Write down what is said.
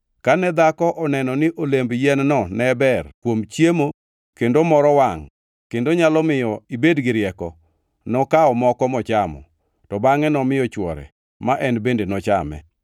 Kane dhako oneno ni olemb yien-no ne ber kuom chiemo kendo moro wangʼ kendo nyalo miyo ibed gi rieko, nokawo moko mochamo, to bangʼe nomiyo chwore ma en bende nochame.